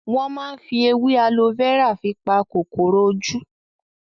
Wọn máa ń fi èwe alo fẹ́rà fi pa kòkòrò ojú